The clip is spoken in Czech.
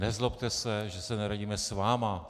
Nezlobte se, že se neradíme s vámi.